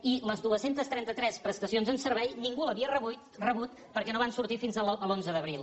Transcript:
i les dos cents i trenta tres prestacions en servei ningú les havia rebut perquè no van sortir fins a l’onze d’abril